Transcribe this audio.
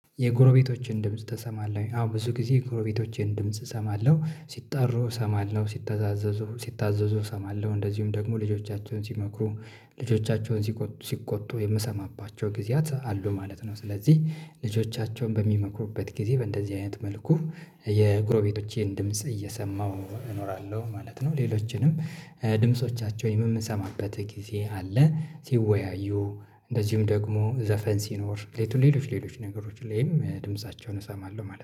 የጎረቤቶችን ድምጽ ትሰማለህ ወይ? አዎ ብዙ ጊዜ የጎረቤቶቼን ድምጽ እሰማለሁ ሲጣሩ እሰማለሁ ሲታዛዘዙ ሲታዘዙ እሰማለሁ እንደዚሁም ደግሞ ልጆቻቸውን ሲመክሩ ልጆቻቸውን ሲቆጡ የምሰማባቸው ጊዜያት አሉ ማለት ነው ስለዚህ ልጆቻቸውን በሚመክሩበት ጊዜ በእንደዚህ አይነት መልኩ የጉሮቤቶቼን ድምጽ እየሰማሁ እኖራለሁ ማለት ነው ሌሎችንም ድምጾቻቸውን የምንሰማበት ጊዜ አለ ሲወያዩ እንደዚሁም ደግሞ ዘፈን ሲኖር ሌሎች ሌሎች ነገሮች ላይም ድምፃቸውን እሰማለሁ ማለት ነው